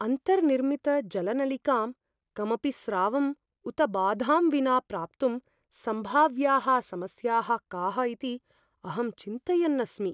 अन्तर्निर्मितजलनलिकां कमपि स्रावं उत बाधां विना प्राप्तुं सम्भाव्याः समस्याः काः इति अहं चिन्तयन् अस्मि।